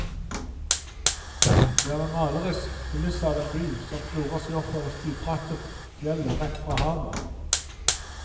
Det er en malerisk kulisse av en by, som klorer seg oppover stupbratte fjellet rett fra havet.